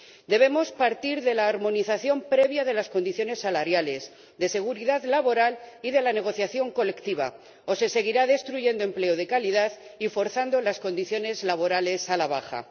Debemos partir de la armonización previa de las condiciones salariales, de la seguridad laboral y de la negociación colectiva, o se seguirá destruyendo empleo de calidad y forzando las condiciones laborales a la baja.